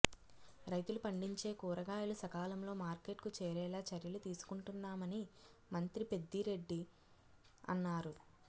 రైతులు పండించే కూరగాయలు సకాలంలో మార్కెట్కు చేరేలా చర్యలు తీసుకొంటున్నామని మంత్రి పెద్దిరెడ్డి అన్నారు